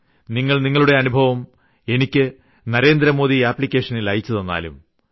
നിങ്ങൾ നിങ്ങളുടെ അനുഭവം എനിക്ക് നരേന്ദ്രമോദി ആപ്ലിക്കേഷനിൽ അയച്ചുതന്നാലും